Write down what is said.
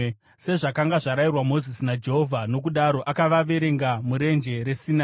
sezvakanga zvarayirwa Mozisi naJehovha. Nokudaro akavaverenga muRenje reSinai: